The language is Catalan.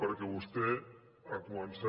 perquè vostè ha començat